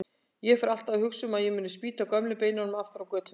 Ég fer alltaf að hugsa um að ég muni spýta gömlu beinunum aftur á götuna.